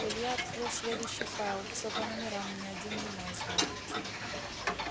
илья открыл следующий файл всё по номерам ни один не назван